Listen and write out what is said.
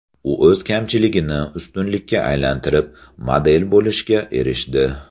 U o‘z kamchiligini ustunlikka aylantirib, model bo‘lishga erishdi.